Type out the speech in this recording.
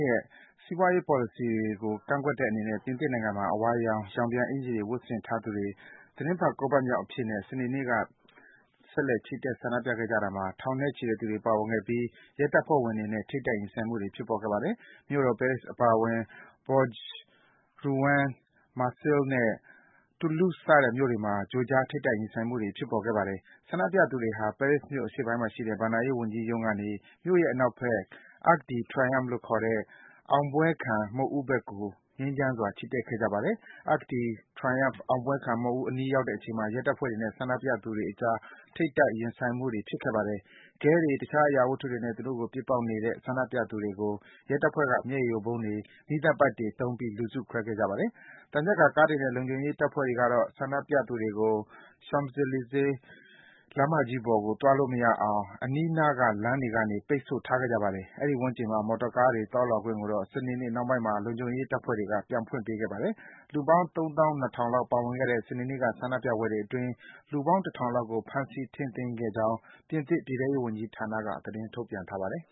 ရဲ့ စီးပွားရေးပေါ်လစီတွေကို ကန့်ကွက်တဲ့အနေနဲ့ ပြင်သစ်နိုင်ငံမှာ အဝါရောင် ရောင်ပြန်အင်္ကျီတွေ ဝတ်ဆင်ထားသူတွေ သီတင်းပတ် ၉ ပတ်မြောက်အဖြစ်နဲ့ စနေနေ့က ထောင်နဲ့ချီတဲ့သူတွေ ဆက်လက် ဆန္ဒပြခဲ့ကြတာမှာ ရဲတပ်ဖွဲ့ဝင်တွေနဲ့ ထိပ်တိုက် ရင်ဆိုင်မှုတွေ ဖြစ်ပေါ်ခဲ့ပါတယ်။ မြို့တော် ပဲရစ်အပါအဝင် Bourges ၊ Rouen ၊ Marseille နဲ့ Toulouse စတဲ့ မြို့တွေမှာ ကြိုကြား ထိပ်တိုက် ရင်ဆိုင်မှုတွေ ဖြစ်ပေါ်ခဲ့ပါတယ်။ ဆန္ဒပြသူတွေဟာ ပဲရစ်မြို့ အရှေ့ပိုင်းမှာရှိတဲ့ ဘဏ္ဍာရေးဝန်ကြီးရုံးကနေ မြို့ရဲ့ အနောက်ဘက် Arc de Triomphe လို့ခေါ်တဲ့ အောင်ပွဲခံ မုခ်ဦးဘက်ကို ငြိမ်းချမ်းစွာ ချီတက်ခဲ့ကြပါတယ်။ Arc de Triomphe အောင်ပွဲခံ မုခ်ဦးအနီး ရောက်တဲ့အချိန်မှာ ရဲတပ်ဖွဲ့ဝင်တွေနဲ့ ဆန္ဒပြသူတွေအကြား ထိပ်တိုက် ရင်ဆိုင်မှုတွေ ဖြစ်ခဲ့ပါတယ်။ ခဲတွေ၊ တခြား အရာဝတ္ထုတွေနဲ့ သူတို့ကို ပစ်ပေါက်နေတဲ့ ဆန္ဒပြ သူတွေကို ရဲတပ်ဖွဲ့က မျက်ရည်ယိုဗုံးတွေ၊ မီးသတ်ပိုက်တွေ သုံးပြီး လူစုခွဲခဲ့ပါတယ်။ သံချက်ကာကားတွေနဲ့ လုံခြုံရေးတပ်ဖွဲ့တွေကတော့ ဆန္ဒပြသူတွေကို Champs-Elysee လမ်းမကြီးပေါ်ကို သွားလို့မရအောင် အနီးနား လမ်းတွေကနေ ပိတ်ဆို့ထားခဲ့ကြပါတယ်။ အဲဒီ အနီးဝန်းကျင်မှာ မော်တော်ကား တွေ သွားလာခွင့်ကိုတော့ စနေနေ့ နှောင်းပိုင်းမှာ လုံခြုံရေး တပ်ဖွဲ့တွေက ပြန်ဖွင့်ပေးခဲ့ပါတယ်။ လူပေါင်း ၃၂,၀၀၀ လောက် ပါဝင်ခဲ့တဲ့ စနေနေ့က ဆန္ဒပြပွဲတွေအတွင်း လူပေါင်း ၁၀၀ လောက်ကို ဖမ်းဆီး ထိန်းသိမ်းခဲ့ကြောင်း ပြင်သစ် ပြည်ထဲရေးဝန်ကြီးဌာနက သတင်းထုတ်ပြန်ပါတယ်